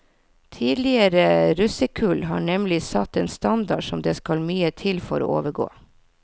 Tidligere russekull har nemlig satt en standard som det skal mye til for å overgå.